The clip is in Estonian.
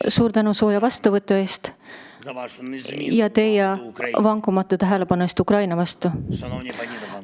Suur tänu sooja vastuvõtu eest ja selle eest, et teie olete vankumatult tähelepanu Ukrainal hoidnud!